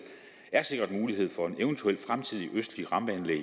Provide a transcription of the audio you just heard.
er sikret mulighed for et eventuelt fremtidigt østligt rampeanlæg